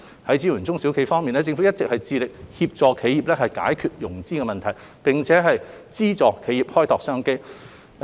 在支援中小企業方面，政府一直致力協助企業解決融資問題，並資助企業開拓商機。